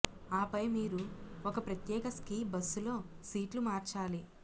ఆపై మీరు ఒక ప్రత్యేక స్కీ బస్సులో సీట్లు మార్చాలి